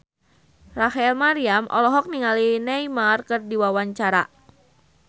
Rachel Maryam olohok ningali Neymar keur diwawancara